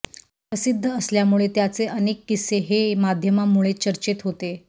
प्रसिद्ध असल्यामुळे त्याचे अनेक किस्से हे माध्यमांमुळे चर्चेत होते